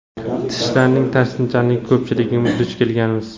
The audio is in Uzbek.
Tishlarning ta’sirchanligiga ko‘pchiligimiz duch kelganmiz.